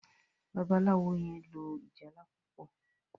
Babalawo yen lò ìjálá púpọ.